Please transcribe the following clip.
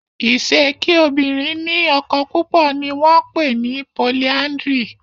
Ise kí obìrin ní ọkọ púpọ ní wón pè ni "polyandry"